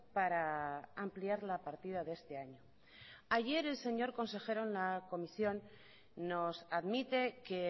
para ampliar la partida de este año ayer el señor consejero en la comisión nos admite que